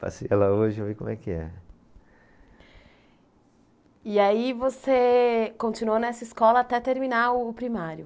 Passei lá hoje, ver como é que é. E aí você continuou nessa escola até terminar o primário?